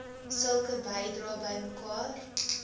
sulke bedrae bymekaar